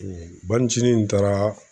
banicinin in taara